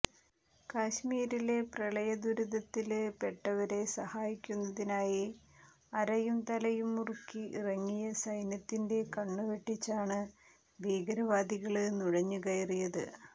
കശ്മീരിലെ പ്രളയ ദുരിതത്തില് പെട്ടവരെ സഹായിക്കുന്നതിനായി അരയും തലയും മുറുക്കി ഇറങ്ങിയ സൈന്യത്തിന്റെ കണ്ണുവെട്ടിച്ചാണ് ഭീകരവാദികള് നുഴഞ്ഞ് കയറിയത്